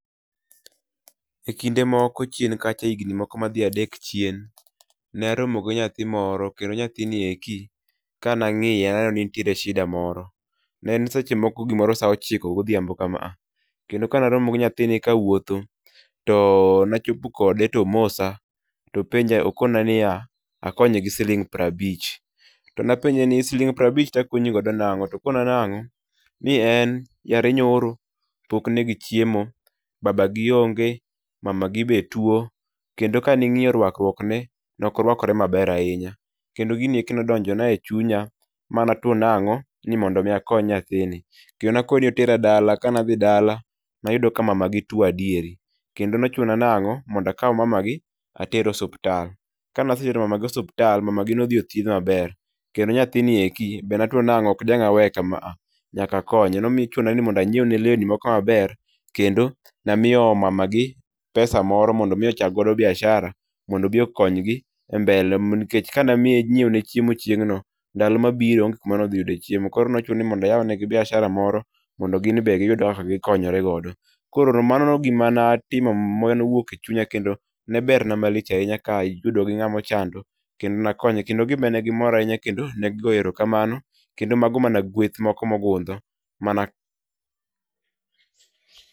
E kinde moko chien kacha higni moko madhi adek chien ne aromo gi nyathi moro kendo nyathini eki ka nang'ie naneno ni nentiere shida moro ne seche moko saa ochiko godhiambo kama a kendo ka naromo gi nyathini kawuotho to nachopo kode tomosa topenja tokona ni a konye gi siling' prabich tapenje ni siling' prabich takonyigo nang'o to kona nang'o ni en yare nyoro pok ne gi chiemo babagi onge mamagi be two kendo ka ning; io rwakruok ne nokorwakre maber ahinya kendi gini eki nodonjo na e chunya ma na two nang'o ni mondo mi akony nyathini kendo nakone ni otera dala, kanadhi dala nayudo ka mama gi two adieri kendo nochuna nang'o mondakaw mamagi ater osuptal kanasetero mamagi osuptal mamagi nothiedh maber kendo nyathini eki bende natwo nokdanga weye kama a nyakakonye nochuna ni mondo anyiew lewni moko maber kendo namiyo mamagi pesa moko mondo chak go biashara mondo obi okonygi e mbele nikech ka namiye nyieone chiemo chieng'no ndalo mabiro onge kama nodhi yude chiemo koro nochuna nayawnegi biashara moro mondo ginebe giyud kaka gikonyore godo, koro mano gimanatimo manowuok e chunya kendo neberna malich ahinya ka iyudo gi ng'amochando kendo nakonye kendo gibe negimora ahinya negigo erokamano kendo mago mana gweth moko mogudho mana.